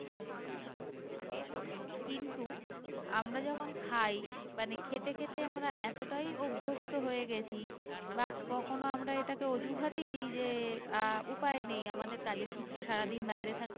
আমরা যখন খাই মানে খেতে খেতে আমরা এতটাই অভস্থ হয়ে গেছি বা কখনো আমরা এটাকে অজুহাতই দি যে আহ উপায়ে নেই আমাদের কাজের সূত্রে সারাদিন বাইরে